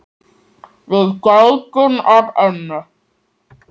Við gætum að ömmu.